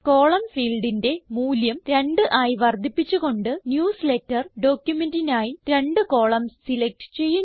column ഫീൽഡിന്റെ മൂല്യം 2 ആയി വർദ്ധിപ്പിച്ചു കൊണ്ട് ന്യൂസ്ലേറ്റർ ഡോക്യുമെന്റിനായി രണ്ട് കോളംൻസ് സിലക്റ്റ് ചെയ്യുന്നു